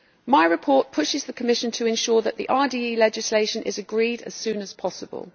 My report pushes the Commission to ensure that the RDE legislation is agreed as soon as possible.